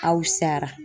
Aw sara